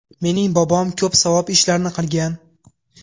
Mening bobom ko‘p savob ishlarni qilgan.